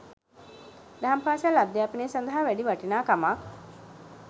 දහම් පාසල් අධ්‍යාපනය සඳහා වැඩි වටිනාකමක්